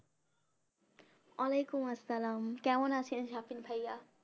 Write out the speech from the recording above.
ওয়ালাইকুম আসসালাম কেমন আছেন সাকিন ভাইয়া